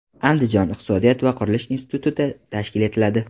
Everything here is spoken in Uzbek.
Andijon iqtisodiyot va qurilish instituti tashkil etiladi.